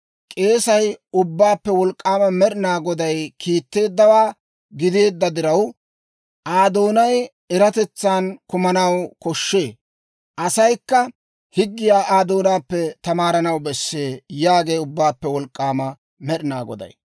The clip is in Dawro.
K'eesay Ubbaappe Wolk'k'aama Med'ina Goday kiitteeddawaa gideedda diraw, Aa doonay eratetsaan kumanaw koshshee; asaykka higgiyaa Aa doonaappe tamaaranaw bessee» yaagee Ubbaappe Wolk'k'aama Med'ina Goday.